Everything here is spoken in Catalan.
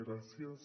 gràcies